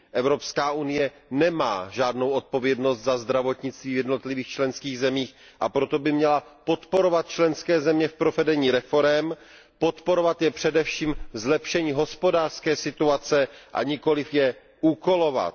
Evropská unie nemá žádnou odpovědnost za zdravotnictví v jednotlivých členských zemích, a proto by měla podporovat členské země v provedení reforem, podporovat je především ve zlepšení hospodářské situace, a nikoli je úkolovat.